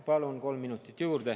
Palun kolm minutit juurde.